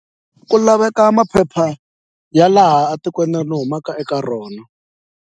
Ku laveka maphepha ya laha a tikweni ni humaka eka rona.